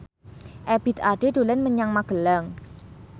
Ebith Ade dolan menyang Magelang